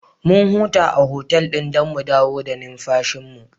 Mun huta a otal ɗin don mu dawo da numfashinmu.